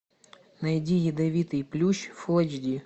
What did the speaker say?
найди ядовитый плющ фулл эйч ди